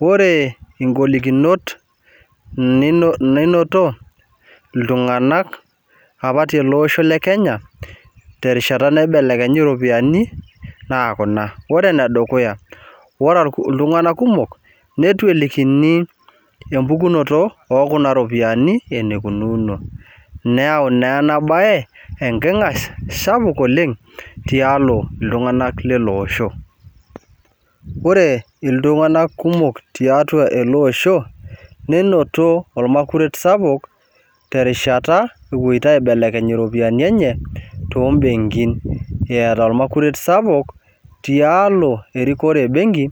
Ore ngolikinot nino ninoto iltunganak apa tele osho lekenya terishata naibelenyi ropiyiani terishata naibelekenyi ropiyiani naa kuna ,ore iltunganak kumok neitu elikini empukunoto okuna ropiyiani enikunono , neyau naa enabae enkingas sapuk oleng tialo iltunganak leleosho . Ore iltunganak kumok tiatua eleosho nenoto ormakuret sapuk terishata epoito aibeleny iropiyiani enye toombenkin , eata ormakuret sapuk tialo erikore ebenki